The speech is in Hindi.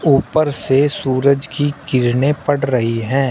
ऊपर से सूरज की किरने पड़ रही हैं।